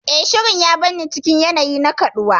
Eh, Shirin ya bar ni cikin yanayi na kaɗuwa.